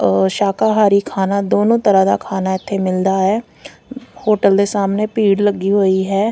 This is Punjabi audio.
ਅ ਸ਼ਾਕਾਹਾਰੀ ਖਾਨਾ ਦੋਨੋਂ ਤਰ੍ਹਾਂ ਦਾ ਖਾਨਾ ਇਥੇ ਮਿਲਦਾ ਹੈ ਹੋਟਲ ਦੇ ਸਾਹਮਣੇ ਭੀੜ ਲੱਗੀ ਹੋਈ ਹੈ।